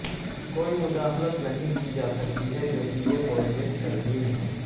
کوئی مداخلت نہیں کی جاسکتی ہے کیونکہ یہ پروجیکٹ ترمیم ہیں